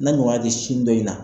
N'a ɲɔgɔnna te sin dɔ in na